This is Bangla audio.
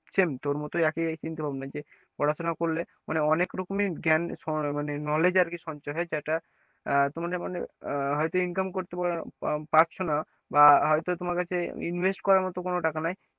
Same তোর মতই একই এই চিন্তা ভাবনা যে পড়াশোনা করলে মানে অনেক রকমই জ্ঞান মানে knowledge আর কি সঞ্চয় হয় যেটা আহ তোমাদের মানে আহ হয়তো income করতে বা পারছো না বা হয়তো তোমার কাছে invest করার মত কোন টাকা নাই